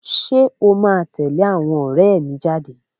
Ṣé o máa tẹ̀lé àwọn ọ̀rẹ́ mi jáde?